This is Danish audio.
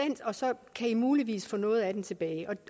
kan i muligvis få noget af den tilbage